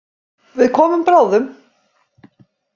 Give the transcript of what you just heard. Við komum bráðum.